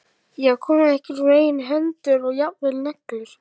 Ég var komin með einhvern veginn hendur og jafnvel neglur.